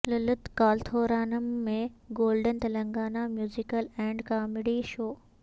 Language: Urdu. للت کلاتھورانم میں golden Telangana musical and comedy show